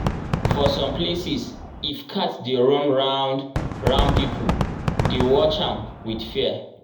for some places if cat dey run round-round people dey watch am with fear.